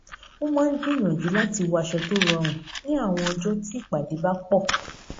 ó máa ń gbíyànjú láti wọ aṣọ tó rọrùn ní àwọn ọjọ tí ìpàdé bá pọ